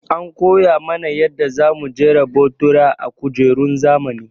An koya mana yanda za mu jera botura a kujerun zamani.